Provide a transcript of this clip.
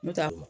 N'o tɛ